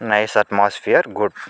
Nice atmosphere good .